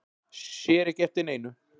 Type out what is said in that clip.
Sér ekki eftir neinu